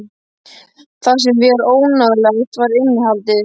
Það sem var óvenjulegt var innihaldið.